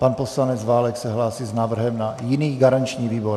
Pan poslanec Válek se hlásí s návrhem na jiný garanční výbor.